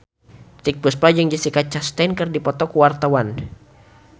Titiek Puspa jeung Jessica Chastain keur dipoto ku wartawan